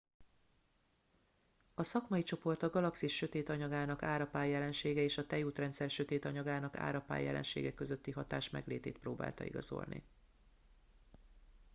a szakmai csoport a galaxis sötét anyagának árapály jelensége és a tejútrendszer sötét anyagának árapály jelensége közötti hatás meglétét próbálta igazolni